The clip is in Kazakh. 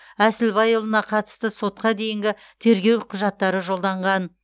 әсілбайұлына қатысты сотқа дейінгі тергеу құжаттары жолданған